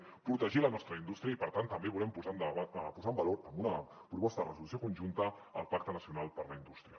protegir la nostra indústria i per tant també volem posar en valor amb una proposta de resolució conjunta el pacte nacional per a la indústria